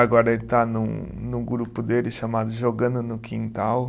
Agora ele está num, num grupo dele chamado Jogando no Quintal.